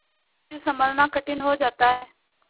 फिर सँभलना कठिन हो जाता है